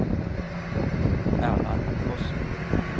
Erland Fossen